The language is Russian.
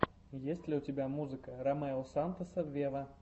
есть ли у тебя музыка ромео сантоса вево